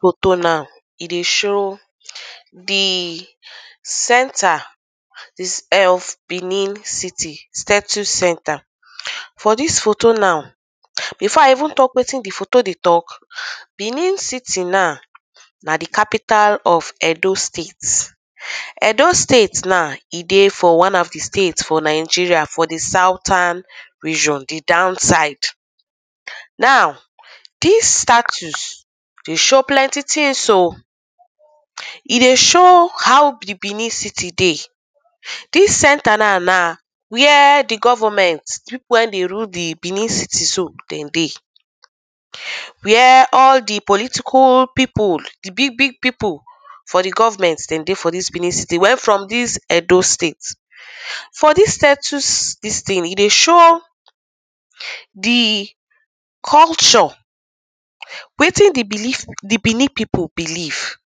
foto now e dey show the center this of Benin city status center for this photo now before i even talk wetin dey photo dey talk benin city now na the capital of Edo State Edo State now e dey for one of di state for nigeria for the southern region the down side now this status dey show plenty things um e dey show how be benin city dey this center naw na where the government people wen dey rule di benin city dem dey where all the political people di big big people for the government dem dey for this benin city where from this Edo State for this status this thing, e dey show the culture wetin the belif the Benin people belief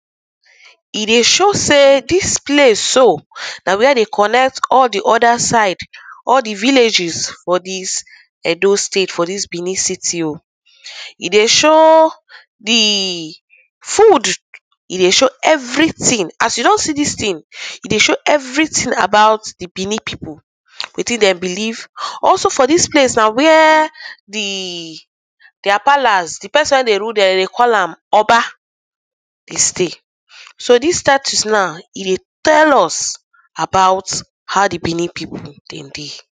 e dey show sey this place so na where dey connect all the other side all the villages for this Edo State for this benin city um e dey shoow the food e dey show everything as you don see this thing e dey show everything about the Benin People wetin dem believe, also for this place na where the their palace the person where dey rule them, dem dey call am Oba dey stay so this status now, e dey tell us about how the Benin people dem dey